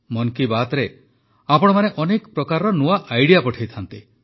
ମନ୍ କି ବାତ୍ରେ ଆପଣମାନେ ଅନେକ ପ୍ରକାର ନୂଆ ଆଇଡିଆ ପଠାଇଥାନ୍ତି